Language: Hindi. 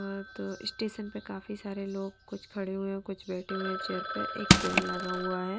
स्टेशन पर काफी सारे लोग कुछ खड़े हुए हैं कुछ बैठे हुए चेयर पे एक पेड़ लगा हुआ है।